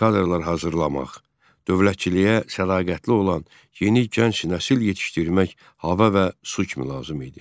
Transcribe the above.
Milli kadrlar hazırlamaq, dövlətçiliyə sədaqətli olan yeni gənc nəsil yetişdirmək hava və su kimi lazım idi.